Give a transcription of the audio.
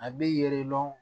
A bɛ yɛlɛma